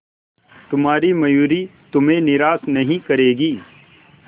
तुम्हारी मयूरी तुम्हें निराश नहीं करेगी